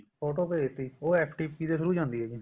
photo ਭੇਜਤੀ ਉਹ FTP ਦੇ through ਜਾਂਦੀ ਹੈ ਜੀ